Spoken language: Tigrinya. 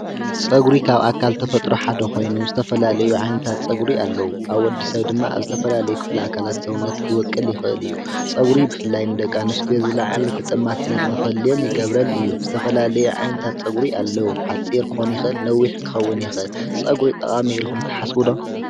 ፀጕሪ ካብ ኣካልተፈጥሮ ሓደ ኾይኑ ዝተፈላለዩ ዓይነታት ጸጕሪ ኣለዉ፡፡ ኣብ ወዲ ሰብ ድማ ኣብ ዝተፈላለየ ክፍሊ ኣካላት ሰውነት ክቦቁል ይኽእል እዩ፡፡ ፀጕሪ ብፍላይ ንደቂ ኣንትዮ ዝለዓለ ተጠማትነት ንኽህልየን ይገብረን እዩ፡፡ ዝተፈላለዩ ዓይነታት ፀጕሪ ኣለዉ፡፡ ሓጺር ክክኑ ይኽእል ነዊሕ ክኸውን ይኽእል፡፡ ጸጕሪ ጠቓሚ ኢልኹም ተሓስቡ ዶ?